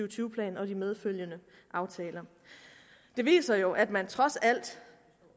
tyve plan og de medfølgende aftaler det viser jo at man trods alt